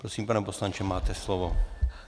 Prosím, pane poslanče, máte slovo.